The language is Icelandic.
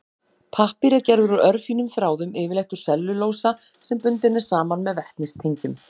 Pappír er gerður úr örfínum þráðum, yfirleitt úr sellulósa sem bundinn er saman með vetnistengjum.